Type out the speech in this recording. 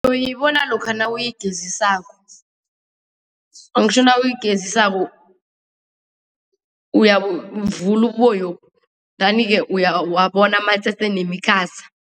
Uyoyibona lokha nawuyigezisako. Angitjho nawuyigezisako uyabuvula ububoyobu endani-ke uyabona amatsetse nemikhaza.